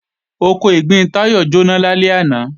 Oko ìgbín Táyọ̀ jóná lálẹ́ àná